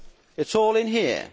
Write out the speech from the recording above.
It is all in here.